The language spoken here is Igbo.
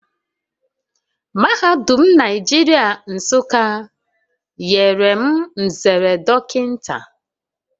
Mahadum Naijiria Nsuka nyere m nzere dockinta